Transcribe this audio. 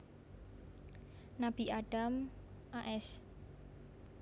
Nabi Adam a s